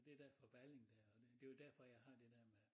Det den fra Balling dér og det jo derfor jeg har det dér med